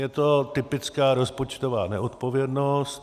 Je to typická rozpočtová neodpovědnost.